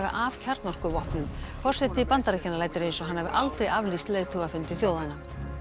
af kjarnorkuvopnum forseti Bandaríkjanna lætur eins og hann hafi aldrei aflýst leiðtogafundi þjóðanna